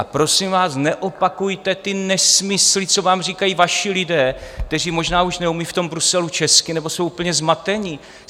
A prosím vás, neopakujte ty nesmysly, co vám říkají vaši lidé, kteří možná už neumějí v tom Bruselu česky nebo jsou úplně zmatení.